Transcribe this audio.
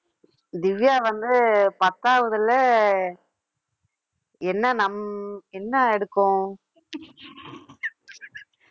திவ்யா வந்து பத்தாவதுல என்ன நம்~ என்ன எடுக்கும்